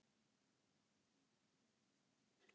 Vissi ekki af áliti Seðlabankans